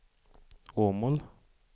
Åmål